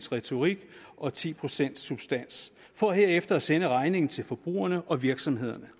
retorik og ti procent substans for herefter at sende regningen til forbrugerne og virksomhederne